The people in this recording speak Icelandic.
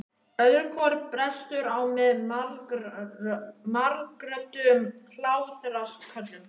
Öðru hvoru brestur á með margrödduðum hlátrasköllum.